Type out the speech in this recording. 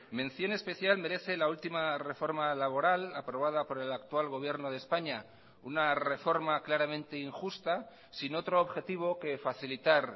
mención especial merece la última reforma laboral aprobada por el actual gobierno de españa una reforma claramente injusta sin otro objetivo que facilitar